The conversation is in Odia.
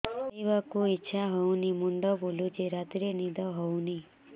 ଖାଇବାକୁ ଇଛା ହଉନି ମୁଣ୍ଡ ବୁଲୁଚି ରାତିରେ ନିଦ ହଉନି